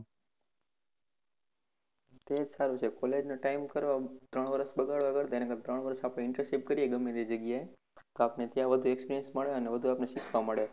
તેજ સારું છે college નો time કરવા ત્રણ વર્ષ બગાડવા કરતા એના કરતા ત્રણ વર્ષ આપણે internship કરીએ તે જગ્યાએ આપણે ત્યાં વધુ experience મળે અને બધુ આપણે શીખવા મળે.